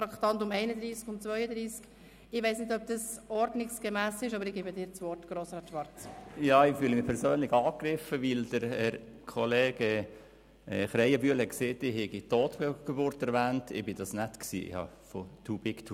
Man hört von Pferden, die hindurch galoppieren oder von sauren Äpfeln, die man in den Schoss legt.